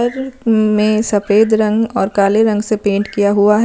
में सफेद रंग और काले रंग से पेंट किया हुआ।